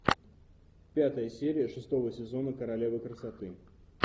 пятая серия шестого сезона королева красоты